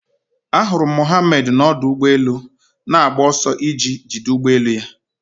Ahụrụ m Mohammad n'ọdụ ụgbọ elu na-agba ọsọ iji jide ụgbọ elu ya